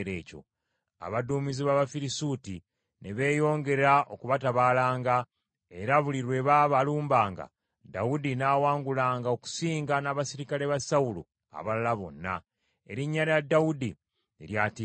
Abaduumizi b’Abafirisuuti ne beeyongera okubatabaalanga, era buli lwe baabalumbanga, Dawudi n’awangulanga okusinga n’Abaserikale ba Sawulo abalala bonna. Erinnya lya Dawudi ne lyatiikirira nnyo.